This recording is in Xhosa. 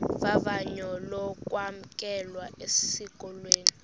vavanyo lokwamkelwa esikolweni